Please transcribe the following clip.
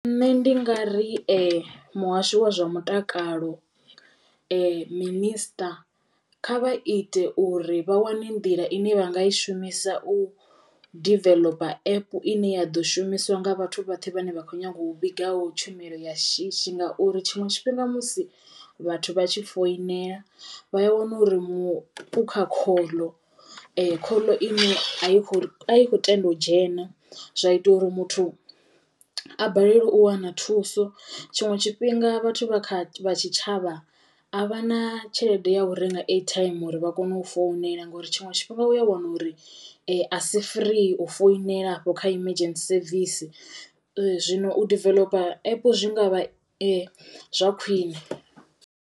Nṋe ndi nga ri muhasho wa zwa mutakalo minister kha vha ite uri vha wane nḓila ine vha nga i shumisa u diveḽopa app ine ya ḓo shumiswa nga vhathu vhoṱhe vhane vha kho nyaga u vhigaho tshumelo ya shishi ngauri tshiṅwe tshifhinga musi vhathu vha tshi foinela vha a wana uri muṅwe u kha khoḽo khoḽo ine a yi kho a yi kho tenda u dzhena zwa ita uri muthu a balelwe u wana thuso. Tshiṅwe tshifhinga vhathu vha kha tshitshavha a vha na tshelede ya u renga airtime uri vha kono u founela ngori tshiṅwe tshifhinga u ya wana uri a si free u founela afho kha emergency service. Zwino u diveḽopa app zwi ngavha zwa khwiṋe.